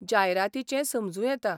जायरातींचें समजूं येता.